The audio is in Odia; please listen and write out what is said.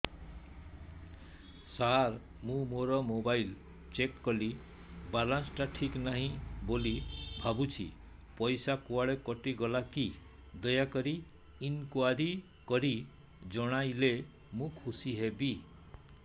ସାର ମୁଁ ମୋର ମୋବାଇଲ ଚେକ କଲି ବାଲାନ୍ସ ଟା ଠିକ ନାହିଁ ବୋଲି ଭାବୁଛି ପଇସା କୁଆଡେ କଟି ଗଲା କି ଦୟାକରି ଇନକ୍ୱାରି କରି ଜଣାଇଲେ ମୁଁ ଖୁସି ହେବି